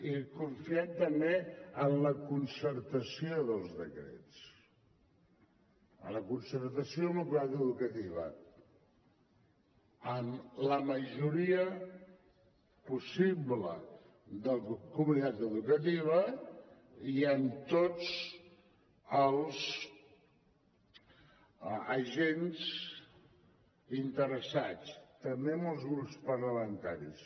i confiem també en la concertació dels decrets en la concertació amb la comunitat educativa amb la majoria possible de la comunitat educativa i amb tots els agents interessats també amb els grups parlamentaris